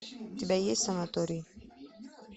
у тебя есть санаторий